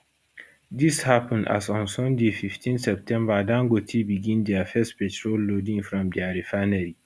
dis happun as on sunday 15 september dangote begin dia first petrol loading from dia refinery